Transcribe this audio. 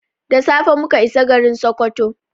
Da safe muka isa garin Sokoto.